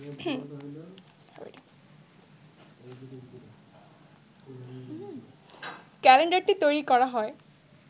ক্যালেন্ডারটি তৈরি করা হয়